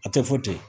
A tɛ fɔ ten